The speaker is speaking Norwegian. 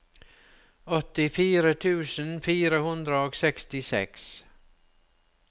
åttifire tusen fire hundre og sekstiseks